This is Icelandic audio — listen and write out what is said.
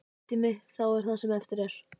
Frítími þá það sem eftir er?